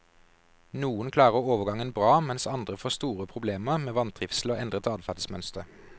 Noen klarer overgangen bra, mens andre får store problemer med vantrivsel og endret adferdsmønster.